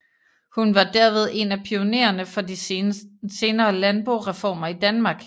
Hun var derved en af pionererne for de senere landboreformer i Danmark